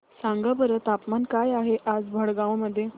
सांगा बरं तापमान काय आहे आज भडगांव मध्ये